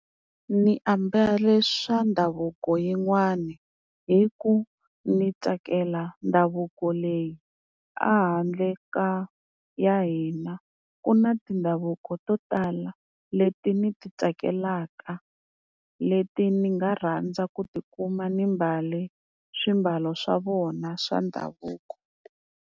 Ni ambale swa ndhavuko yin'wani hi ku ni tsakela ndhavuko leyi, a handle ka ya hina ku na tindhavuko to tala leti ni ti tsakelaka, leti ni nga rhandza ku tikuma ni mbale swiambalo swa vona swa ndhavuko.